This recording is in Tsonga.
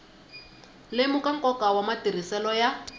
lemuka nkoka wa matirhiselo ya